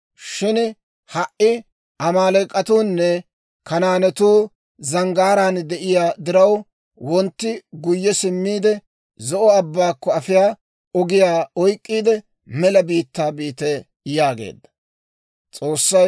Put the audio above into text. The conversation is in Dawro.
Shin ha"i Amaaleek'atuunne Kanaanetuu zanggaaraan de'iyaa diraw, wontti guyye simmiide, Zo'o Abbaakko afiyaa ogiyaa oyk'k'iide mela biittaa biite» yaageedda.